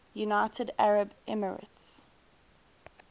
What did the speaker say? united arab emirates